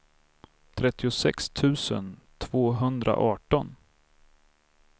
trettiosex tusen tvåhundraarton